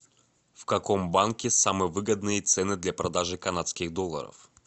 в каком банке самые выгодные цены для продажи канадских долларов